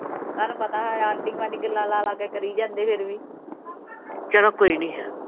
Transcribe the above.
ਚਲੋ ਕੋਈ ਨਹੀ।